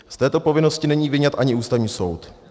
Z této povinnosti není vyňat ani Ústavní soud.